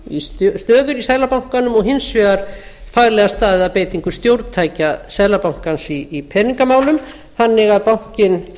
í stöður í seðlabankanum og hins vegar faglega staðið að beitingu stjórntækja seðlabankans í peningamálum þannig að bankinn